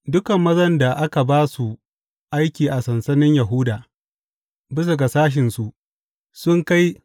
Dukan mazan da aka ba su aiki a sansanin Yahuda bisa ga sashensu sun kai